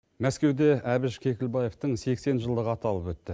мәскеуде әбіш кекілбаевтың сексен жылдығы аталып өтті